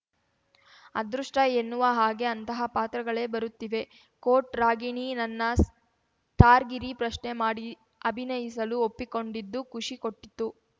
ಅದೃಷ್ಟಎನ್ನುವ ಹಾಗೆ ಅಂತಹ ಪಾತ್ರಗಳೇ ಬರುತ್ತಿವೆ ಕೋಟ್‌ ರಾಗಿಣಿ ನನ್ನ ಸ್ಟಾರ್‌ಗಿರಿ ಪ್ರಶ್ನೆ ಮಾಡಿ ಅಭಿನಯಿಸಲು ಒಪ್ಪಿಕೊಂಡಿದ್ದು ಖುಷಿ ಕೊಟ್ಟಿತು